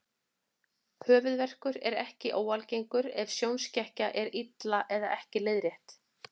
Höfuðverkur er ekki óalgengur ef sjónskekkja er illa eða ekki leiðrétt.